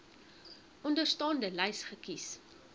onderstaande lys kies